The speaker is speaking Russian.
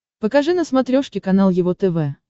покажи на смотрешке канал его тв